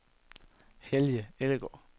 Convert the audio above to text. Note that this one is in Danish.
Helge Ellegaard